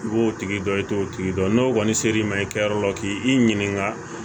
I b'o tigi dɔn i t'o tigi dɔn n'o kɔni sera i ma i kɛyɔrɔ la k'i ɲininka